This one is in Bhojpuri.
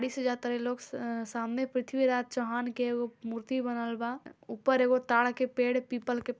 गाड़ी से जा तारे लोग स अ सामने पृथ्वीराज चौहान के एगो मूर्ति बनल बा ऊपर एगो ताड़ के पेड़ पीपल के --